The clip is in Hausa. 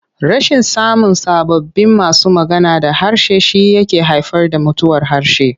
Rashin samun sababbin masu magana da harshe shi yake haifar da mutuwar harshe.